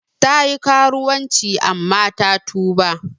Ta yi karuwanci amma ta tuba.